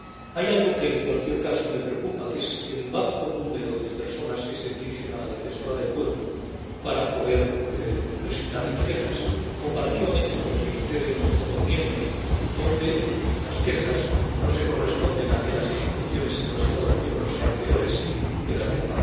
Hay algo que, en cualquier caso, me preocupa, que es el bajo número de personas que se dirigen a la defensora del pueblo para poder presentar sus quejas, comparativamente con lo que sucede en los Estados miembros, donde el número de quejas no se corresponde con que las instituciones en los Estados miembros sean peores que las de